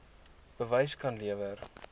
bewys kan lewer